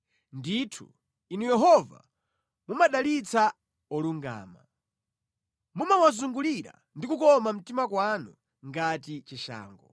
Ndithu, Inu Yehova, mumadalitsa olungama; mumawazungulira ndi kukoma mtima kwanu ngati chishango.